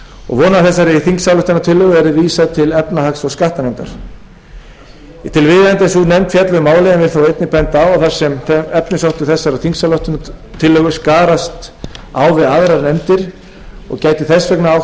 og vona að þessari þingsályktunartillögu verði vísað til efnahags og skattanefndar ég tel viðeigandi að sú nefnd fjalli um málið en vil þó einnig benda á að þar sem efnisþáttur þessarar þingsályktunartillögu skarast á við aðrar nefndir og gæti þess vegna átt